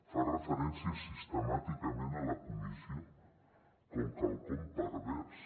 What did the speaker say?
fa referència sistemàticament a la comissió com quelcom pervers